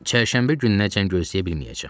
Çərşənbə gününəcən gözləyə bilməyəcəm.